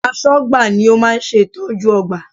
Aṣọ́gbà ni ó máa ń ṣe ìtọ́jú ọgbà